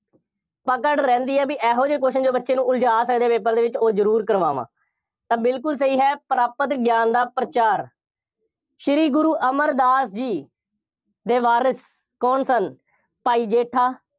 ਪਕੜ ਰਹਿੰਦੀ ਹੈ, ਬਈ ਇਹੋ ਜਿਹੇ question ਜੋ ਬੱਚੇ ਨੂੰ ਉਲਝਾ ਸਕਦੇ ਆ, paper ਦੇ ਵਿੱਚ, ਉਹ ਜ਼ਰੂਰ ਕਰਵਾਵਾਂ, ਤਾਂ ਬਿਲਕੁੱਲ ਸਹੀ ਹੈ, ਪ੍ਰਾਪਤ ਗਿਆਨ ਦਾ ਪ੍ਰਚਾਰ ਸ਼੍ਰੀ ਗੁਰੂ ਅਮਰਦਾਸ ਜੀ, ਦੇ ਵਾਰਿਸ ਕੌਣ ਸਨ? ਭਾਈ ਜੇਠਾ,